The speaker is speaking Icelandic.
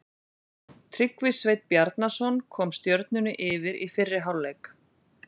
Tryggvi Sveinn Bjarnason kom Stjörnunni yfir í fyrri hálfleik.